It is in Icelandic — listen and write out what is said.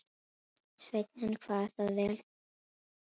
Sveinninn kvað það vel til fallið og gekk fram.